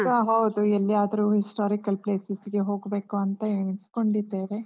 ಹ ಹೌದು, ಎಲ್ಲಿಯಾದರೂ historical places ಹೋಗ್ಬೇಕು ಅಂತ ಎಣಿಸ್ಕೊಂಡಿದ್ದೇವೆ.